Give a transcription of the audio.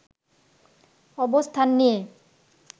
অবস্থান নিয়ে